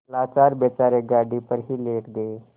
लाचार बेचारे गाड़ी पर ही लेट गये